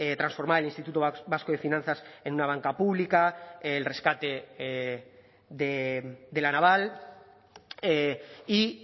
transformar el instituto vasco de finanzas en una banca pública el rescate de la naval y